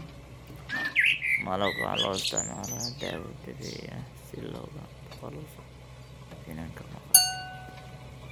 Malabka waxaa loo isticmaalaa dawo dabiici ah si looga takhaluso finanka maqaarka.